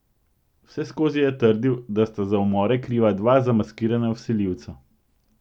Vseskozi je trdil, da sta za umore kriva dva zamaskirana vsiljivca.